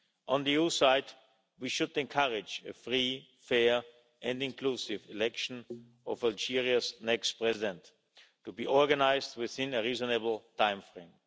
On the EU side, we should encourage a free, fair and inclusive election of Algeria's next President to be organised within a reasonable timeframe.